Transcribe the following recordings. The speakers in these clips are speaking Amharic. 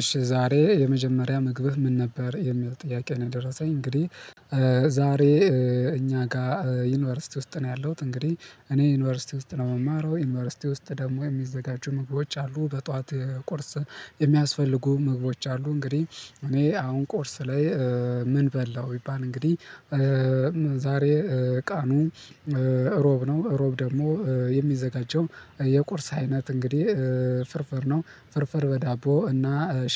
እሺ ዛሬ የመጀመሪያ ምግብህ ምን ነበር የሚል ጥያቄ ነው? ደረሰኝ እንግዲህ ዛሬ እኛ ጋር ዩኒቨርሲቲ ውስጥ ነው ያለሁት እንግዲህ እኔ ዩኒቨርሲቲ ውስጥ ነው የምማረው ዩኒቨርሲቲ ውስጥ ደግሞ የሚዘጋጁ ምግቦች አሉ በጧት ቁርስ የሚያስፈልጉ ምግቦች አሉ እንግዲህ እኔ አሁን ቁርስ ላይ ምን በላው ቢባል እንግዲህ። ዛሬ ቀኑ እሮብ ነው እሮብ ደግሞ የሚዘጋጀው የቁርስ አይነት እንግዲህ ፍርፍር ነው ፍርፍር በዳቦ እና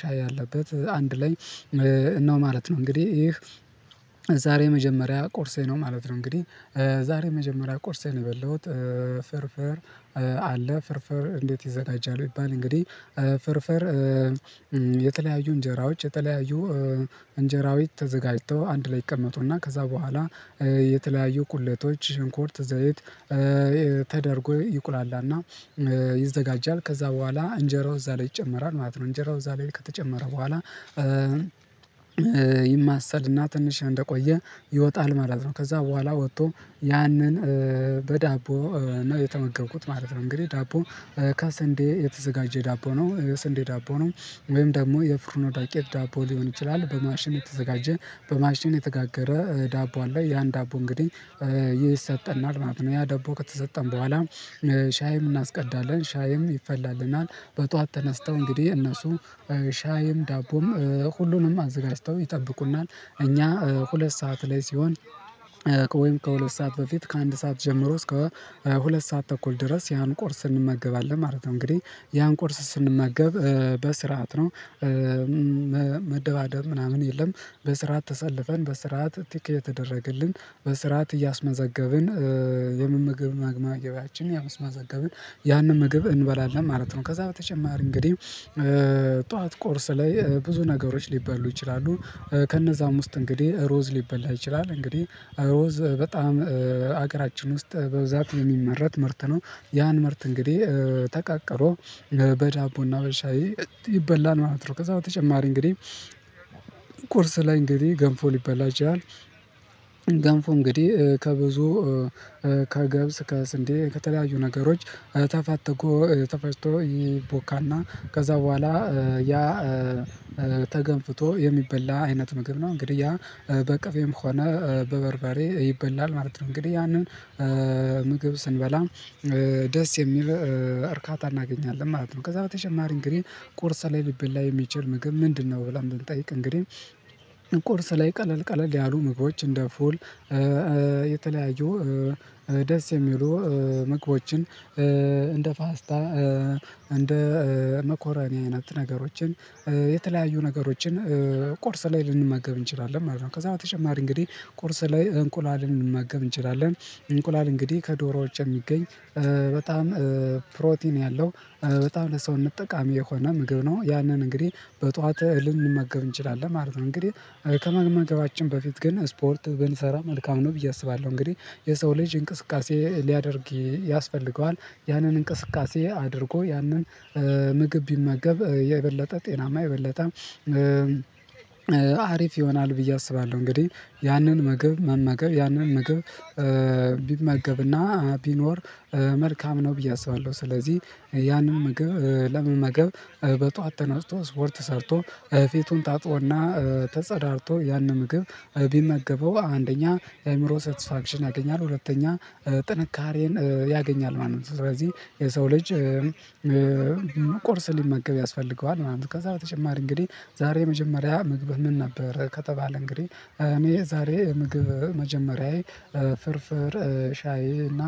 ሻይ ያለበት አንድ ላይ ነው ማለት ነው። እንግዲህ ይህ ዛሬ መጀመሪያ ቁርሴ ነው ማለት ነው። እንግዲህ ዛሬ መጀመሪያ ቁርሴን የበላሁት ፍርፍር አለ ፍርፍር እንዴት ይዘጋጃል ቢባል እንግዲህ። ፍርፍር የተለያዩ እንጀራዎች የተለያዩ እንጀራዊ ተዘጋጅቶ አንድ ላይ ይቀመጡና ከዛ በኋላ የተለያዩ ቁለቶች ሽንኩርት ዘይት ተደርጎ ይቁላላና ይዘጋጃል ከዛ በኋላ እንጀራው እዛ ላይ ይጨመራል ማለት ነው እንጀራው እዛ ላይ ከተጨመረ በኋላ ይማሰልና ትንሽ እንደቆየ ይወጣል ማለት ነው። ከዛ በኋላ ወጥቶ ያንን በዳቦ ነው የተመገብኩት ማለት ነው። እንግዲህ ዳቦ ከሰንዴ የተዘጋጀ ዳቦ ነው ስንዴ ዳቦ ነው ወይም ደግሞ የፍርኖ ዱቄት ዳቦ ሊሆን ይችላል በማሽን የተዘጋጀ በማሽን የተጋገረ ዳቦ ላይ ያን ዳቦ እንግዲህ ይሰጠናል ማለት ነው። ያ ዳቦ ከተሰጠን በኋላ ሻይም እናስቀዳለን ሻይም ይፈላልናል በጧት ተነስተው እንግዲህ እነሱ ሻይም ዳቦም ሁሉንም አዘጋጅተው ይጠብቁናል እኛ ሁለት ሰዓት ላይ ሲሆን ከሁለት ሰዓት በፊት ከአንድ ሰዓት ጀምሮ እስከ ሁለት ሰዓት ተኩል ድረስ ያን ቁርስ እንመገባለን ማለት ነው። እንግዲህ ያን ቁርስ ስንመገብ በስርዓት ነው መደባደብ ምናምን የለም በስርዓት ተሰልፈን በስርዓት ቲክ እየተደረገልን በስርዓት እያስመዘገብን የምምግብ መመገቢያችን እያስመዘገብን ያንን ምግብ እንበላለን ማለት ነው። ከዛ በተጨማሪ እንግዲህ ጠዋት ቁርስ ላይ ብዙ ነገሮች ሊበሉ ይችላሉ ከነዛም ውስጥ እንግዲህ ሩዝ ሊበላ ይችላል እንግዲህ ሩዝ በጣም ሀገራችን ውስጥ በብዛት የሚመረት ምርት ነው ያን ምርት እንግዲህ ተቃቅሮ በዳቦና በሻይ ይበላል ማለት ነው። ከዛ በተጨማሪ እንግዲህ ቁርስ ላይ እንግዲህ ገንፎ ሊበላ ይችላል ያው ገንፎ እንግዲህ ከብዙ ከገብስ ከስንዴ ከተለያዩ ነገሮች ተፋትጎ ተፈጭቶ ይቦካና ከዛ በኋላ ያ ተገንፍቶ የሚበላ አይነት ምግብ ነው እንግዲህ ያ በቅቤም ሆነ በበርበሬ ይበላል ማለት ነው። እንግዲህ ያንን ምግብ ስንበላ ደስ የሚል እርካታ እናገኛለን ማለት ነው። ከዛ በተጨማሪ እንግዲህ ቁርስ ላይ ሊበላ የሚችል ምግብ ምንድነው ብለን ብንጠይቅ እንግዲህ ቁርስ ላይ ቀለል ቀለል ያሉ ምግቦች እንደ ፉል የተለያዩ ደስ የሚሉ ምግቦችን እንደ ፓስታ እንደ መኮረኒ አይነት ነገሮችን የተለያዩ ነገሮችን ቁርስ ላይ ልንመገብ እንችላለን ማለት ነው። ከዛ በተጨማሪ እንግዲህ ቁርስ ላይ እንቁላል ልንመገብ መገብ እንችላለን እንቁላል እንግዲህ ከዶሮዎች የሚገኝ በጣም ፕሮቲን ያለው በጣም ለሰውነት ጠቃሚ የሆነ ምግብ ነው ያንን እንግዲህ በጧት እህል እንመገብ እንችላለን ማለት ነው። እንግዲህ ከመመገባችን በፊት ግን ስፖርት ብንሰራ መልካም ነው ብዬ አስባለሁ እንግዲህ የሰው ልጅ እንቅስቃሴ ሊያደርግ ያስፈልገዋል ያንን እንቅስቃሴ አድርጎ ያንን ምግብ ቢመገብ የበለጠ ጤናማ የበለጠ አሪፍ ይሆናል ብዬ አስባለሁ እንግዲህ ያንን ምግብ መመገብ ያንን መገብ ቢመገብና ቢኖር መልካም ነው ብዬ አስባለሁ። ስለዚህ ያንን ምግብ ለመመገብ በጧት ተነስቶ ስፖርት ሰርቶ ፊቱን ታጥቦና ተጸዳድቶ ያንን ምግብ ቢመገበው አንደኛ የአእምሮ ሰተስፋክሽን ያገኛል ሁለተኛ ጥንካሬን ያገኛል ማለት ነው። ስለዚህ የሰው ልጅ ቁርስ ሊመገብ ያስፈልገዋል ምናምን ከዛ በተጨማሪ እንግዲህ ዛሬ የመጀመሪያ ምግብ ምን ነበር ከተባለ እንግዲህ እኔ ዛሬ ምግብ መጀመሪያዬ ፍርፍር ሻይ እና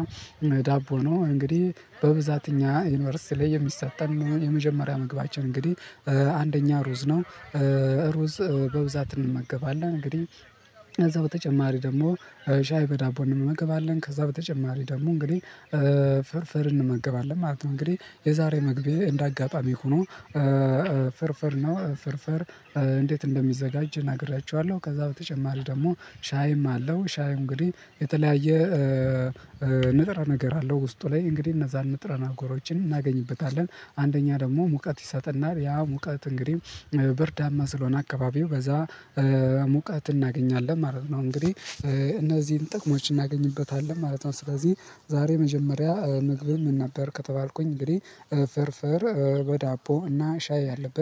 ዳቦ ነው። እንግዲህ በብዛት እኛ ዩኒቨርሲቲ ላይ የሚሰጠን ነው የመጀመሪያ መግባችን እንግዲህ አንደኛ ሩዝ ነው ሩዝ በብዛት እንመገባለን እንግዲህ ከዛ በተጨማሪ ደግሞ ሻይ በዳቦ እንመገባለን ከዛ በተጨማሪ ደግሞ እንግዲህ ፍርፍር እንመገባለን ማለት ነው። እንግዲህ የዛሬ ምግቤ እንዳጋጣሚ ሆኖ ፍርፍር ነው ፍርፍር እንዴት እንደሚዘጋጅ ነግራችኋለሁ። ከዛ በተጨማሪ ደግሞ ሻይም አለው ሻይ እንግዲህ የተለያየ ንጥረ ነገር አለው ውስጡ ላይ እንግዲህ እነዛን ንጥረ ነገሮችን እናገኝበታለን አንደኛ ደግሞ ሙቀት ይሰጠናል ያ ሙቀት እንግዲህ ብርዳማ ስለሆነ አካባቢው በዛ ሙቀት እናገኛለን ማለት ነው እንግዲህ እነዚህን ጥቅሞች እናገኝበታለን ማለት ነው። ስለዚህ ዛሬ መጀመሪያ ምግቤ ምን ነበር ከተባልኩኝ እንግዲህ ፍርፍር በዳቦ እና ሻይ ያለበት